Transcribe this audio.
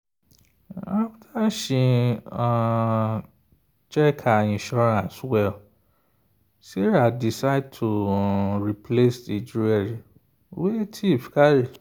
after she um check her insurance well sarah decide to replace the jewelry wey thief carry.